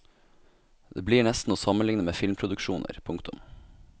Det blir nesten å sammenligne med filmproduksjoner. punktum